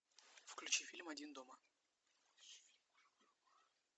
включи фильм один дома